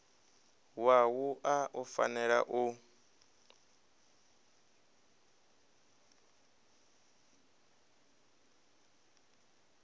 wa wua u fanela u